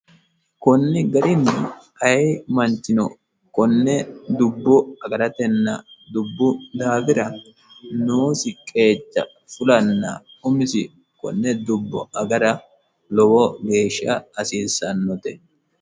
kunni garinni aye manchino konne dubbu agaratenna dubbu daafira noosi qeeca fulanna umisi konne dubbo agara lowo geeshsha hasiissannote